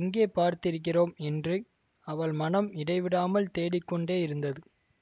எங்கே பார்த்திருக்கிறோம் என்று அவள் மனம் இடைவிடாமல் தேடிக் கொண்டே இருந்தது